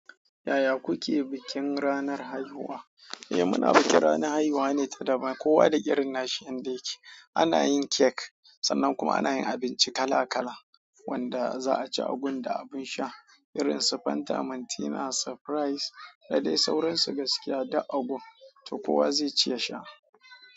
Yaya kuke bikin ranar haihuwa? Eh muna bikin ranar haihuwa ne ta daban. Kowa da irin nashi yadda yake. Ana yin cake sannan kuma ana yin abinci kala kala wanda za a ci a gun da abun sha irin su Fanta, Mantina, Surprise da dai sauransu gaskiya duk a gun to kowa zai ci ya sha.